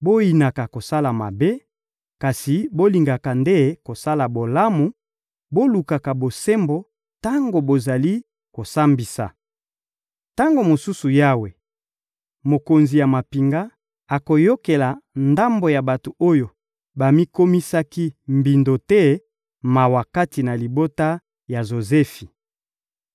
Boyinaka kosala mabe, kasi bolingaka nde kosala bolamu; bolukaka bosembo tango bozali kosambisa. Tango mosusu Yawe, Mokonzi ya mampinga, akoyokela ndambo ya bato oyo bamikomisaki mbindo te mawa kati na libota ya Jozefi.